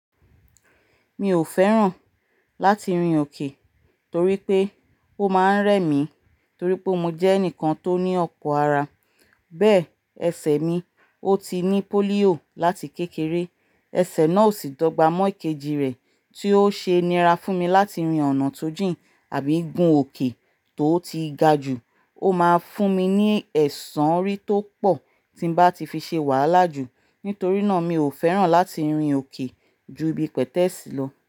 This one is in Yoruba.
Mi ò fẹ́ràn láti rin òkè torí pé ó máa ń rẹ̀ mí torí pé mo jẹ́ ẹnìkan tó ní ọ̀pọ̀ ara. Bẹ́ẹ̀, ẹsẹ̀ mi ó ti ní pólíò láti kékeré. Ẹsẹ̀ náà ò sì dọ́gba mọ́ ìkejì rẹ̀, tí ó ṣe nira fún mi láti rin ọ̀nà tó jìn àbí gun òkè tó ti ga jù. Ó máa ń fún mi ní ẹ̀sàn orí tó pọ̀ tí bá ti fi ṣe wàhálà jù. Nítorí náà mi ò fẹ́ràn láti rin òkè ju ibi pẹ̀tẹ́ẹ̀sì lọ.